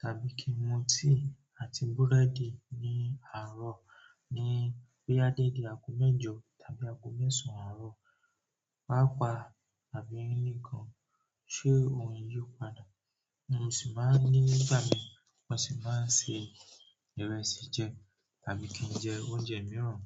tàbí kí n mu tea àti búrẹ́dì ní àárọ̀ ní boya dédé aago mẹ́jọ tàbí aago mẹ́sàn-án àárọ̀, pàápàá tàbí ní kàn. Ṣé òun yóò padà? Mo sì máa ń nígbà mì mo sì máa ń se ìrẹsì jẹ tàbí kí n jẹ oúnjẹ mìíràn.